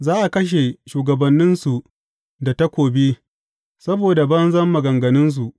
Za a kashe shugabanninsu da takobi saboda banzan maganganunsu.